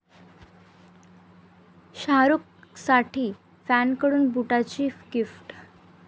शाहरूखसाठी फॅनकडून बुटांची गिफ्ट